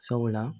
Sabula